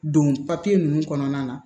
Don papiye ninnu kɔnɔna na